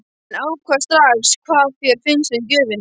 Ekki ákveða strax hvað þér finnst um gjöfina.